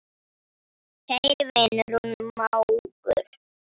Kæri vinur og mágur.